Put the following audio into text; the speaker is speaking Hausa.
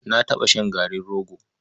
Na taɓa shan garin rogo.